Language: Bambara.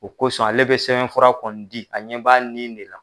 O kosɔn ale bɛ sɛbɛn fura kɔni di a ɲɛ b'a nin de la.